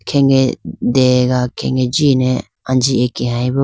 khege dega khege jine anji akeyi bo.